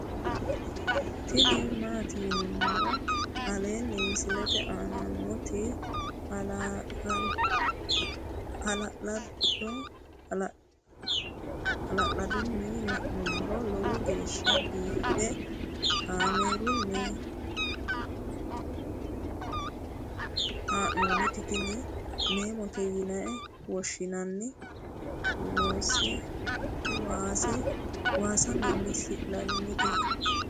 tini maati yinummoro aleenni misilete aana nooti hala'ladunni la'nummoro lowo geeshsha biiffe kaamerunni haa'nooniti tini memote yine woshshinanni waasa meemmissi'nanite